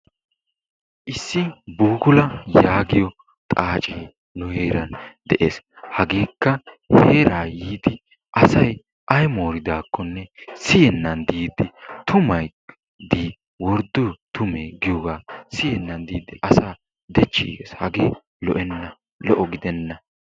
Isssi buukula yaagiyo xaaacee nu heeran de'ees, hageekka heeraa yiidi asay ay mooridaakonne siyennan diidi tumay dii wordoo tumee giyooga siyennan diidi geenan asaa dechiigees hagee lo'enna lo'o gidenna.